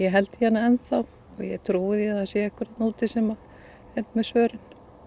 held í hana enn þá og ég trúi því að það sé einhver þarna úti sem er með svörin